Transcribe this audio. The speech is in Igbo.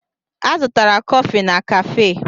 A zụtara kọfị na káfé